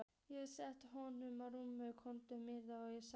Ég settist við höfðagaflinn á rúmi konu minnar og sagði